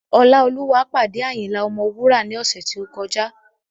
Ọláolúwa pàdé Ayinla Ọmọwura ní ọ̀sẹ̀ tí ó kọjá